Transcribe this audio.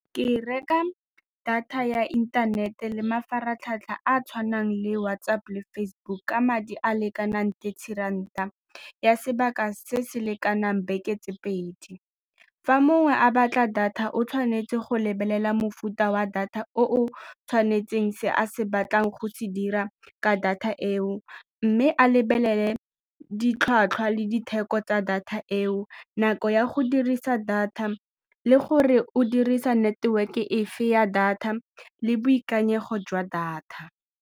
Ke reka data ya inthanete le mafaratlhatlha a a tshwanang le WhatsApp le Facebook ka madi a a lekanang le tshwarana ya sebaka se se lekanang beke tse pedi. Fa mongwe a batla data o tshwanetse go lebelela mofuta wa data o tshwanetseng se a se batlang go se dira ka data eo mme a lebelele ditlhwatlhwa le ditheko tsa data eo, nako ya go dirisa data le gore o dirisa network-e efe ya data le boikanyego jwa data.